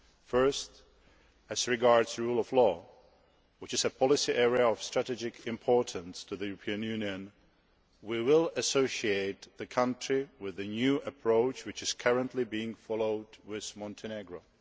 Firstly, as regards the rule of law which is a policy area of strategic importance to the European Union we will associate the country with the new approach which is currently being followed with Montenegro.